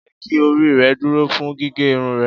Jeki ori rẹ duro fun gige irun rẹ!